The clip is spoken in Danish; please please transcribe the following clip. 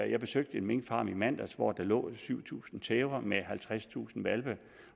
jeg besøgte en minkfarm i mandags hvor der lå syv tusind tæver med halvtredstusind hvalpe